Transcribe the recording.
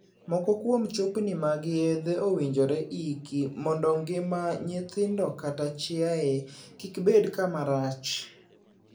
Moko kuom chupni mag yedhe owinjore iki mondo ngima nyithindo kata chiaye gik bed kama rach.